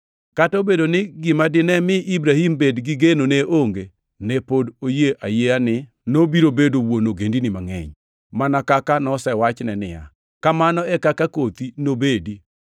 Kata obedo ni gima dine mi Ibrahim bed gi geno ne onge, ne pod oyie ayieya ni nobiro bedo “wuon ogendini mangʼeny,” mana kaka nosewachne niya, “kamano e kaka kothi nobedi.” + 4:18 \+xt Chak 15:5\+xt*